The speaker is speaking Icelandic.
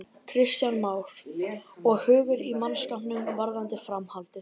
Kristján Már: Og hugur í mannskapnum varðandi framhaldið?